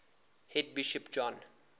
head bishop john